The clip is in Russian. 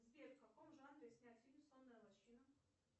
сбер в каком жанре снят фильм сонная лощина